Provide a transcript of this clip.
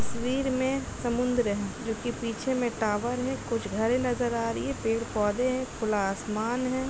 तस्वीर में समुंद्र है जो कि पीछे में टॉवर है। कुछ घरें नजर आ रही है पेड़-पौधे हैं। खुला आसमान है।